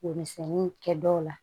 Womisɛnni kɛ dɔw la